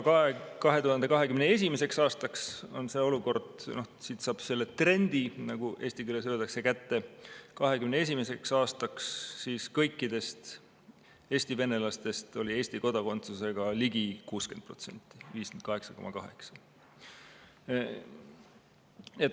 2021. aastaks on see olukord selline – siit saab selle trendi, nagu eesti keeles öeldakse, kätte –, et kõikidest Eesti venelastest oli Eesti kodakondsusega ligi 60% ehk 58,8%.